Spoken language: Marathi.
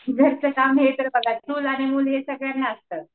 घरचं काम तर हे बघा चूल आणि मूल हे सगळ्यांना असतं